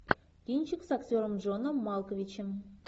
кинчик с актером джоном малковичем